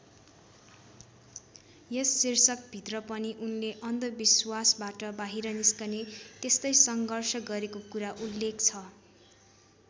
यस शीर्षक भित्र पनि उनले अन्धविश्वासबाट बाहिर निस्कने त्यसतै सङ्घर्ष गरेको कुरा उल्लेख छ।